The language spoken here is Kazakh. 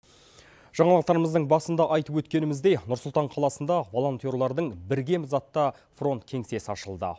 жаңалықтарымыздың басында айтып өткеніміздей нұрсұлтан қаласында волонтерлардың біргеміз атты фронт кеңсесі ашылды